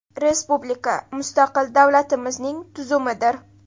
Respublika – mustaqil davlatimizning tuzumidir.